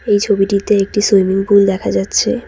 এই ছবিটিতে একটি সুইমিং পুল দেখা যাচ্ছে।